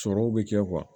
Sɔrɔw bi kɛ